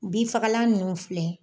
Bni fagalan nunnu filɛ